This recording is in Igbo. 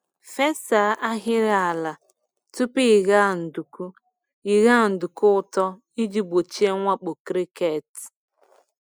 Fesa ahịrị ala tupu ịgha nduku ịgha nduku ụtọ iji gbochie mwakpo cricket.